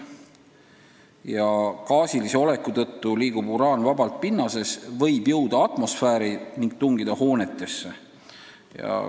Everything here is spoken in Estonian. Ja gaasilise oleku tõttu liigub uraan vabalt pinnases, võib jõuda atmosfääri ning tungida ka hoonetesse.